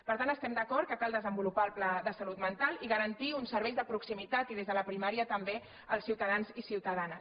per tant estem d’acord que cal desenvolupar el pla de salut mental i garantir uns serveis de proximi·tat i des de la primària també als ciutadans i ciutada·nes